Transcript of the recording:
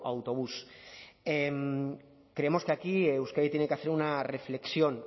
autobús creemos que aquí euskadi tiene que hacer una reflexión